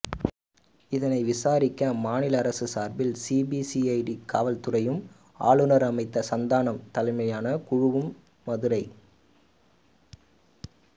இதனை விசாரிக்க மாநில அரசு சார்பில் சிபிசிஐடி காவல் துறையும் ஆளுநர் அமைத்த சந்தானம் தலைமையிலான குழுவும் மதுரை